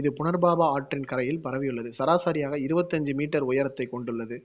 இது புனர்பாபா ஆற்றின் கரையில் பரவியுள்ளது ராசரியாக இருவத்தி அஞ்சு meter உயரத்தைக் கொண்டுள்ளது.